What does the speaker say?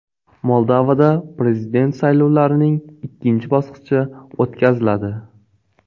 Moldovada prezident saylovlarining ikkinchi bosqichi o‘tkaziladi.